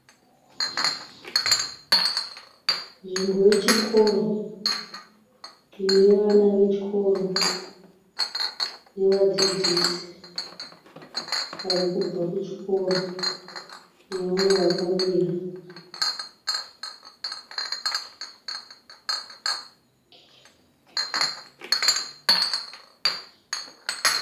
Nzvimbo yechikoro, ine vana vechikoro, nevadziszisi varikubva kuchikoro, nevamwe vakamira.